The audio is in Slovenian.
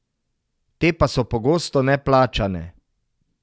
Te pa so pogosto neplačane.